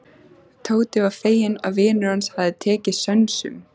Tóti var feginn að vinur hans hafði tekið sönsum.